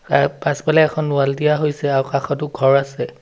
তাৰ পাছফালে এখন ৱাল দিয়া হৈছে আৰু কাষতো ঘৰ আছে।